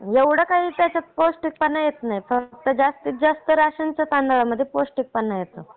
एवढा काही त्याच्यात पौष्टिकपणा येत नाही. फक्त जास्तीत जास्त रेषांच्या तांदळा मध्ये पौष्टिकपणा येतो.